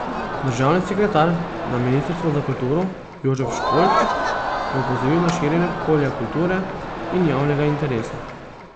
Državni sekretar na ministrstvu za kulturo Jožef Školč je opozoril na širjenje polja kulture in javnega interesa.